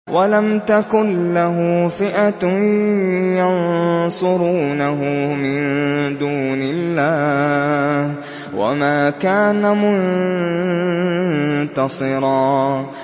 وَلَمْ تَكُن لَّهُ فِئَةٌ يَنصُرُونَهُ مِن دُونِ اللَّهِ وَمَا كَانَ مُنتَصِرًا